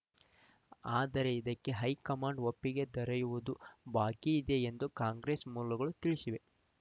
ಆದರೆ ಇದಕ್ಕೆ ಹೈಕಮಾಂಡ್‌ ಒಪ್ಪಿಗೆ ದೊರೆಯುವುದು ಬಾಕಿಯಿದೆ ಎಂದು ಕಾಂಗ್ರೆಸ್‌ ಮೂಲಗಳು ತಿಳಿಸಿವೆ